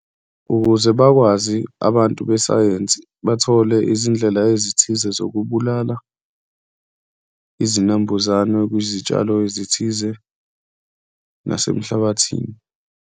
Ukuze bakwazi abantu besayensi, bathole izindlela ezithize zokubulala izinambuzane kuzitshalo ezithize nasemhlabathini.